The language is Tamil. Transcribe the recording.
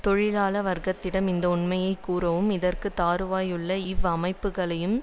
தொழிலாள வர்க்கத்திடம் இந்த உண்மையை கூறவும் இறக்குதறுவாயிலுள்ள இவ் அமைப்புக்களின்